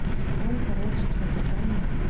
он короче что-то там